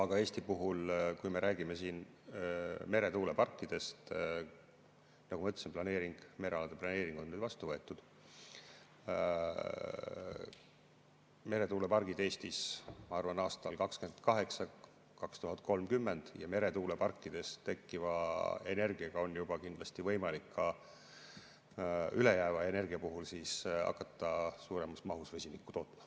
Aga Eesti puhul, kui me räägime meretuuleparkidest, siis nagu ma ütlesin, merealade planeering on vastu võetud, meretuulepargid Eestis, ma arvan, on aastatel 2028–2030 ja meretuuleparkidest tekkiva energiaga on kindlasti võimalik ka ülejääva energia puhul hakata suuremas mahus vesinikku tootma.